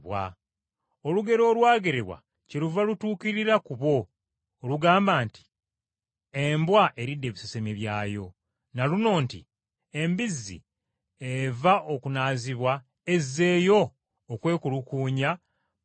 Olugero olwagerebwa kyeluva lutuukirira ku bo olugamba nti, “Embwa eridde ebisesemye byayo,” na luno nti: “Embizzi eva okunaazibwa ezzeeyo okwekulukuunya mu bitosi.”